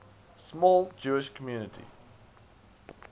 small jewish community